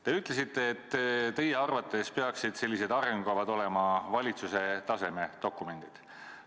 Te ütlesite, et teie arvates peaksid selliseid arengukavad olema valitsuse tasandi dokumendid.